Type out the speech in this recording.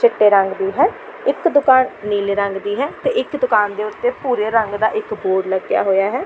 ਚਿੱਟੇ ਰੰਗ ਦੀ ਹੈ ਇੱਕ ਦੁਕਾਨ ਨੀਲੇ ਰੰਗ ਦੀ ਹੈ ਤੇ ਇੱਕ ਦੁਕਾਨ ਦੇ ਉੱਤੇ ਭੂਰੇ ਰੰਗ ਦਾ ਇੱਕ ਬੋਰਡ ਲੱਗਿਆ ਹੋਈਆ ਹੈ।